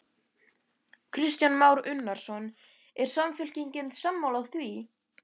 Kristján Már Unnarsson: Er Samfylkingin sammála því?